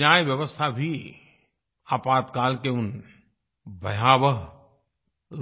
न्याय व्यवस्था भी आपातकाल के उस भयावह